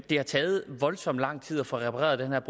det har taget voldsom lang tid at få repareret